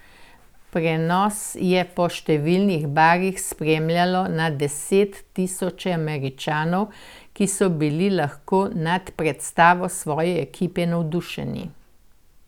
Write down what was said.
Prenos je po številnih barih spremljalo na deset tisoče Američanov, ki so bili lahko nad predstavo svoje ekipe navdušeni.